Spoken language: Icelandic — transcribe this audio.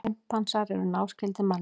Simpansar eru náskyldir manninum.